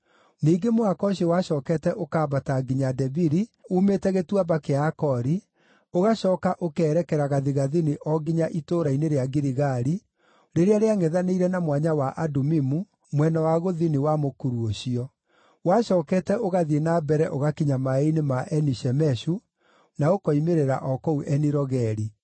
Ningĩ mũhaka ũcio wacookete ũkambata nginya Debiri uumĩte Gĩtuamba kĩa Akori, ũgacooka ũkerekera gathigathini o nginya itũũra-inĩ rĩa Giligali, rĩrĩa rĩangʼethanĩire na Mwanya wa Adumimu, mwena wa gũthini wa mũkuru ũcio. Wacookete ũgathiĩ na mbere ũgakinya maaĩ-inĩ ma Eni-Shemeshu, na ũkoimĩrĩra o kũu Eni-Rogeli.